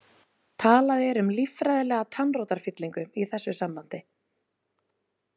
Talað er um líffræðilega tannrótarfyllingu í þessu sambandi.